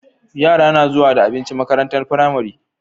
Yara na zuwa da abinci makarantar pramari